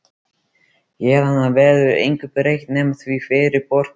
Héðan af verður engu breytt nema því hverjir borga.